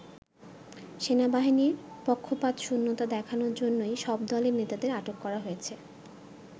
সেনাবাহিনীর পক্ষপাতশূন্যতা দেখানোর জন্যই সব দলের নেতাদের আটক করা হয়েছে।